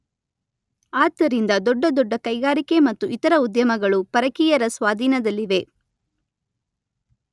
ಆದ್ದರಿಂದ ದೊಡ್ಡ ದೊಡ್ಡ ಕೈಗಾರಿಕೆ ಮತ್ತು ಇತರ ಉದ್ಯಮಗಳು ಪರಕೀಯರ ಸ್ವಾಧೀನದಲ್ಲಿವೆ.